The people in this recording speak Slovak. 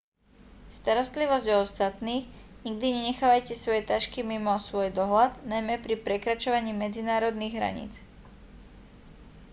starostlivosť o ostatných nikdy nenechávajte svoje tašky mimo svoj dohľad najmä pri prekračovaní medzinárodných hraníc